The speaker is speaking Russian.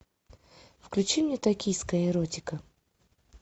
включи мне токийская эротика